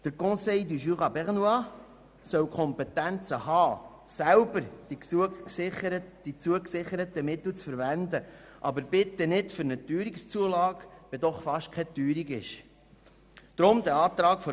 Der Conseil du Jura bernois soll die Kompetenzen haben, selber die zugesicherten Mittel zu verwenden, aber bitte nicht für eine Teuerungszulage, wenn es doch fast keine Teuerung gibt.